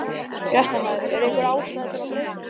Fréttamaður: Er einhver ástæða til að breyta þeim?